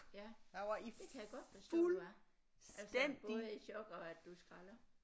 Ja det kan jeg godt forstå du er altså både i chok og at du er skralder